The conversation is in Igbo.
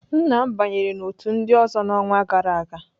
Nna m banyere n'otu ndị ọzọ n'ọnwa gara aga.